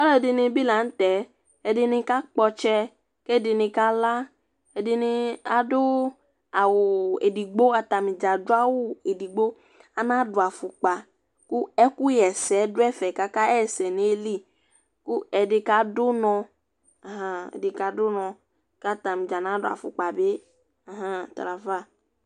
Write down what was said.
ɑluɛdinibi lɑnutɛ ɛdini kɑkpotsɛ kédinikɑlɑ ɛdini ɑdu ɑwu ɛdigbo ku ɑtɑnidzɑ ɑduɑwu ɛdigbo ɑnɑduɑfukpɑ kuɛkuhɛsé duɛfɛ kɑkɑhésɛdu nạyili ku ɛdikɑdunɔ hum ɛdikɑdunɔ kɑtɑnidzɑ nạduɑfukpɑbi hum tɑlɑfɑ